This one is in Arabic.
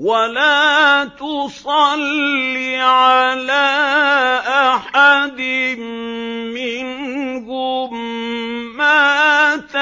وَلَا تُصَلِّ عَلَىٰ أَحَدٍ مِّنْهُم مَّاتَ